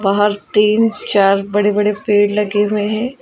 और तीन चार बड़े बड़े पेड़ लगे हुए हैं।